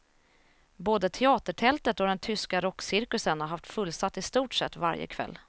Både teatertältet och den tyska rockcirkusen har haft fullsatt i stort sett varje kväll.